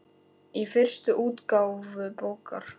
Í fyrstu útgáfu bókar